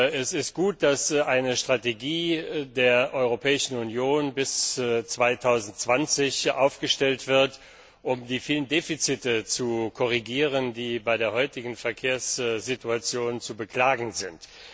Es ist gut, dass eine Strategie der Europäischen Union bis 2020 aufgestellt wird, um die vielen Defizite zu korrigieren, die bei der heutigen Verkehrssituation zu beklagen sind.